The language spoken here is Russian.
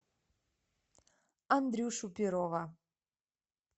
андрюшу перова